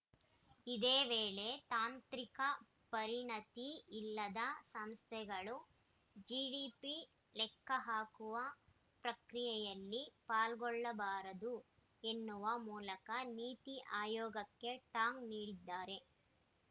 ಇದೇ ವೇಳೆ ತಾಂತ್ರಿಕ ಪರಿಣತಿ ಇಲ್ಲದ ಸಂಸ್ಥೆಗಳು ಜಿಡಿಪಿ ಲೆಕ್ಕಹಾಕುವ ಪ್ರಕ್ರಿಯೆಯಲ್ಲಿ ಪಾಲ್ಗೊಳ್ಳಬಾರದು ಎನ್ನುವ ಮೂಲಕ ನೀತಿ ಆಯೋಗಕ್ಕೆ ಟಾಂಗ್‌ ನೀಡಿದ್ದಾರೆ